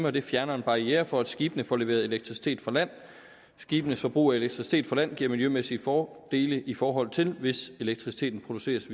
og det fjerner en barriere for at skibene får leveret elektricitet fra land skibenes forbrug af elektricitet fra land giver miljømæssige fordele i forhold til hvis elektriciteten produceres